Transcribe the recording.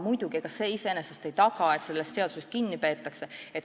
Muidugi, ega see iseenesest ei taga, et seadusest kinni peetakse.